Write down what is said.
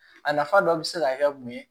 A nafa dɔ bɛ se ka kɛ mun ye